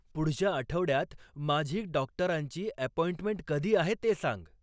पुढच्या आठवड्यात माझी डॉक्टरांची अॅपॉइंटमेंट कधी आहे ते सांग